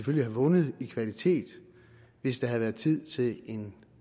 ville have vundet i kvalitet hvis der havde været tid til en